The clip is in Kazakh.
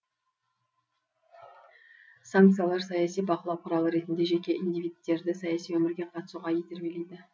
санкциялар саяси бақылау құралы ретінде жеке индивидтерді саяси өмірге қатысуға итермелейді